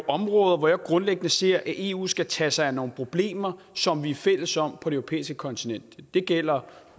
områder hvor jeg grundlæggende ser at eu skal tage sig af nogle problemer som vi er fælles om på det europæiske kontinent det gælder